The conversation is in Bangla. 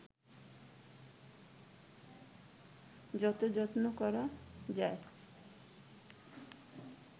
যত যত্ন করা যায়